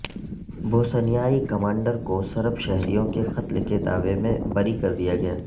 بوسنیائی commander کو Serb شہریوں کے قتل کے دعوے میں بری کر دیا گیا